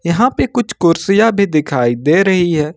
यहां पे कुछ कुर्सियां भी दिखाई दे रही है।